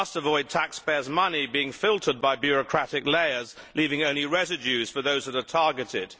We must avoid taxpayers' money being filtered by bureaucratic layers, leaving only residues for those that are targeted.